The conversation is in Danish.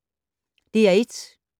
DR1